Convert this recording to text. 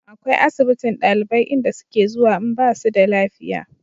akwai asibitin ɗalibai inda su ke zuwa in basu da lafiya